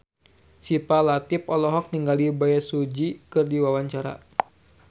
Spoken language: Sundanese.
Syifa Latief olohok ningali Bae Su Ji keur diwawancara